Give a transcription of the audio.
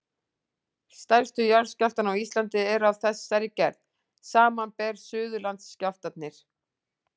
Stærstu skjálftarnir á Íslandi eru af þessari gerð, samanber Suðurlandsskjálftarnir.